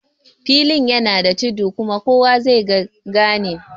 Filin yana da tudu kuma kowa zai ga ganin